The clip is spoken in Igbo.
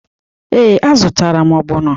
Ee, a zụtara m ogbono.